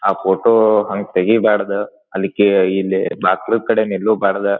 ಆ ಫೋಟೋ ಹಂಗ್ ತೆಗಿಬಾರ್ದು ಅಲ್ಲಿ ಇಲ್ಲಿ ಬಾಕ್ಲು ಕಡೆ ನಿಲ್ಲುಬಾರ್ದು.